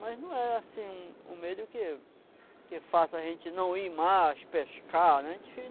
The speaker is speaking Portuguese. Mas não é, assim, um um medo que que faça a gente não ir mais pescar, né? É